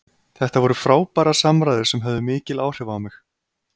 Þetta voru frábærar samræður sem höfðu mikil áhrif á mig.